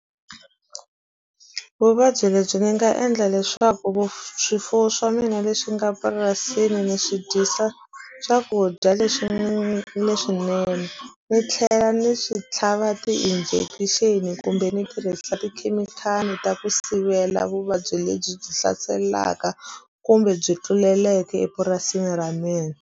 Vuvabyi lebyi ni nga endla leswaku swifuwo swa mina leswi nga purasini ni swi dyisa swakudya leswi leswinene ni tlhela ni swi tlhava ti-injection kumbe ni tirhisa tikhemikhali ta ku sivela vuvabyi lebyi byi hlaselaka kumbe byi tluleleke epurasini ra mina.